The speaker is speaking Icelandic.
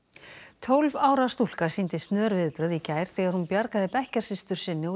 tólf ára stúlka sýndi snör viðbrögð í gær þegar hún bjargaði bekkjarsystur sinni úr